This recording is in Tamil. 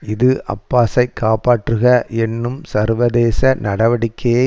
இது அப்பாஸை காப்பற்றுக என்னும் சர்வதேச நடவடிக்கையை